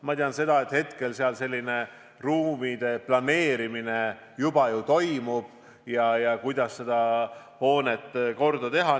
Ma tean seda, et hetkel seal ruumide planeerimine juba toimub ja vaadatakse, kuidas seda hoonet korda teha.